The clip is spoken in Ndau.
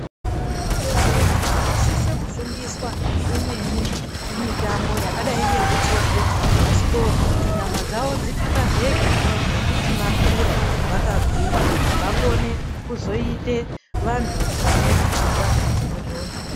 Vana vadodori vanosise kufundiswa imweni mitambo yakadai ngekuchovhe bhasikoro kuti nyamadzwo dzitakazeke. Nekuti vakure vakagwinya vakone kuzoita vantu vanepfungwa dzinodhonza.